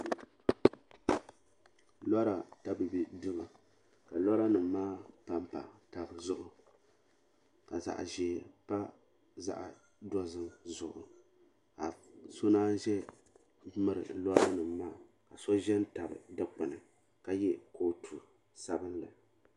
Lora tabibi duu ka lora nima maa pampa taba zuɣu ka zaɣa ʒee pa zaɣa dozim zuɣu ka so naanyi ʒemmiri lora nima maa so ʒɛ n tabi dikpini ka ye kootu sabinli.